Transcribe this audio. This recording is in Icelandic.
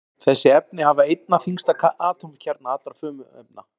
Þessi efni hafa einna þyngsta atómkjarna allra frumefna.